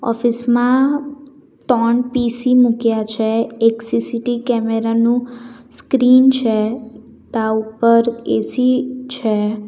Office માં તણ PC મૂક્યા છે એક સી_સી_ટી કેમેરા નું સ્ક્રીન છે તા ઉપર એ_સી છે.